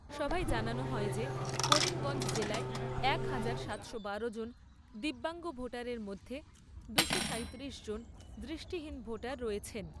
সভায় জানানো হয় যে করিমগঞ্জ জেলায় এক হাজার সাতশো বারো জন দিব্যাঙ্গ ভোটারের মধ্যে দুশো সাঁইতিরিশ জন দৃষ্টিহীন ভোটার রয়েছেন।